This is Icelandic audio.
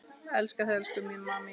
Elska þig elsku amma mín.